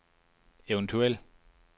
eventuel